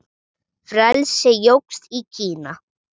Frelsi jókst í Kína.